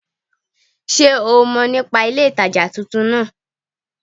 Sé o mo nípa ilé ìtajà titun náà